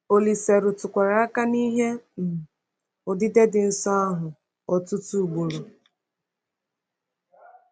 Olise rụtụkwara aka n’ihe um odide dị nsọ ahụ ọtụtụ ugboro.